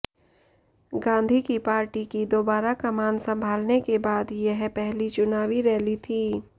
गांधी की पार्टी की दोबारा कमान सम्भालने के बाद यह पहली चुनावी रैली थी